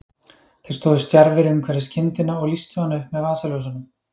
Þeir stóðu stjarfir umhverfis kindina og lýstu hana upp með vasaljósunum.